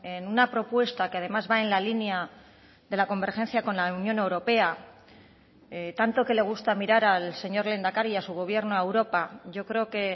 en una propuesta que además va en la línea de la convergencia con la unión europea tanto que le gusta mirar al señor lehendakari y a su gobierno a europa yo creo que